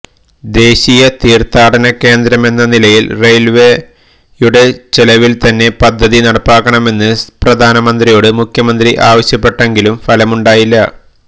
ദേശീയ തീർഥാടന കേന്ദ്രമെന്ന നിലയിൽ റെയിൽവേയുടെ ചെലവിൽത്തന്നെ പദ്ധതി നടപ്പാക്കണമെന്ന് പ്രധാനമന്ത്രിയോട് മുഖ്യമന്ത്രി ആവശ്യപ്പെട്ടെങ്കിലും ഫലമുണ്ടായില്ല